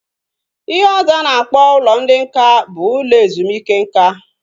Ihe ọzọ a na-akpọ ụlọ ndị nká bụ ụlọ ezumike nká